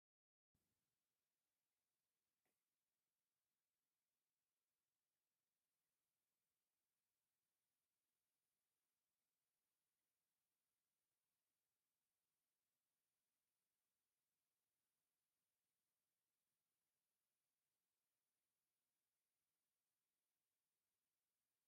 እዚ ሱር ናይ ሓደ ሽንጉርቲ ዝበሃል ተኽሊ ዘርኢ እዩ። ካብ መሬት ዝለዓሉ ኮይኖም ጻዕዳን ብጫን ምልክት ዘለዎም ቀጠልያ ቆጽሊ ኣለዎም። እዚ ድማ ተፈጥሮኣውን ጽሩይን መሬታዊ ምስሊ ዘለዎ ምንጪ ጥዕና ይመስል።